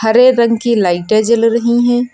हरे रंग की लाइटे जल रही हैं।